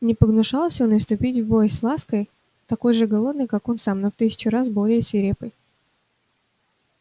не погнушался он и вступить в бой с лаской такой же голодной как он сам но в тысячу раз более свирепой